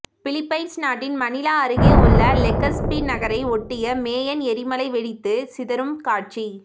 Philippines நாட்டின் Manila அருகே உள்ள லெகஸ்பி நகரை ஒட்டிய மேயன் எரிமலை வெடித்து சிதறும் காட்சி